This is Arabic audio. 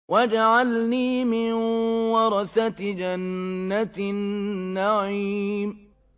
وَاجْعَلْنِي مِن وَرَثَةِ جَنَّةِ النَّعِيمِ